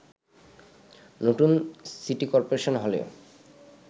নতুন city corporation হলেও